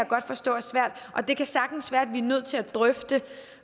godt forstå er svært og det kan sagtens være at vi nødt til at drøfte